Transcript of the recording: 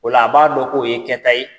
O la a b'a dɔn k'o ye kɛta ye